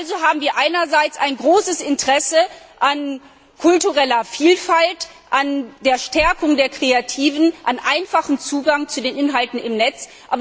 Also haben wir einerseits ein großes Interesse an kultureller Vielfalt, an der Stärkung der Kreativen, an einfachem Zugang zu den Inhalten im Netz.